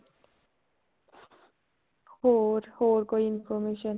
ਹੋਰ ਹੋਰ ਕੋਈ information